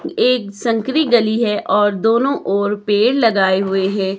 एक संकरी गली है और दोनों ओर पेड़ लगाए हुए है।